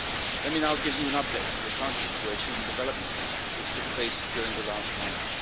Let me now give you an update on the current situation and developments which took place during the last months.